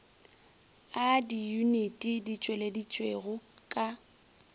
a diyuniti di tšweleditšwego ka